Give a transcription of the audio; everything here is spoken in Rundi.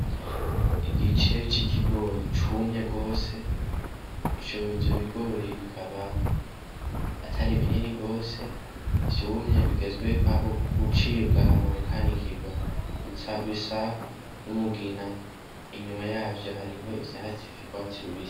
Igice c'ikigori cumye gose, ivyo bigori bikaba atari binini gose vyumye bigeze gucibwa hama bikanikirwa, bica bisa n'umugina, inyuma yavyo hariho ivyatsi vy'urwatsi rubisi.